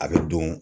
A bɛ don